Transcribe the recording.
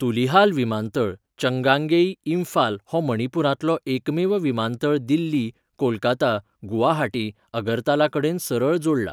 तुलिहाल विमानतळ, चंगांगेई, इम्फाल हो मणिपूरांतलो एकमेव विमानतळ दिल्ली, कोलकाता, गुवाहाटी, अगरतला कडेन सरळ जोडला .